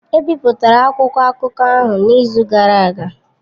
Ebipụtara akwụkwọ akụkọ ahụ n'izu gara aga